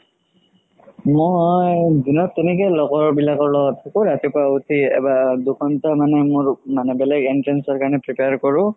মই দিনত তেনেকে লগৰ বিলাকৰ লগত ৰাতিপুৱা উথি এবাৰ দুঘন্তা মান মানে মোৰ বেলেগ entrance ৰ কাৰণে prepare কৰো